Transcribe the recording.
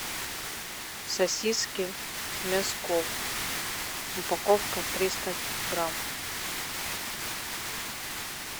сосиски мясков упаковка триста грамм